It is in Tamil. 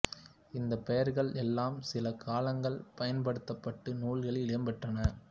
இந்தப் பெயர்கள் எல்லாம் சில காலங்கள் பயன்படுத்தப்பட்டு நூல்களில் இடம் பெற்றன